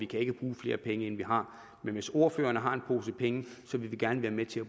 kan bruge flere penge end vi har men hvis ordførerne har en pose penge vil vi gerne være med til